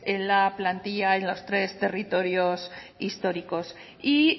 en la plantilla en los tres territorios históricos y